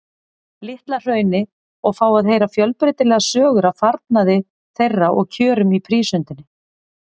Litla-Hrauni og fá að heyra fjölbreytilegar sögur af farnaði þeirra og kjörum í prísundinni.